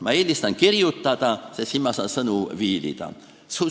Ma eelistan kirjutada, sest siis saan ma sõnu viilida.